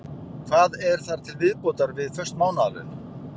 Hvað er þar til viðbótar við föst mánaðarlaun?